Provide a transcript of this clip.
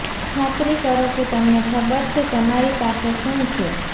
ખાતરી કરો કે તમને ખબર છે તમારી પાસે શું છે